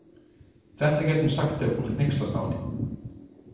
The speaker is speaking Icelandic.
Þetta gæti hún sagt þegar fólk hneykslast á henni.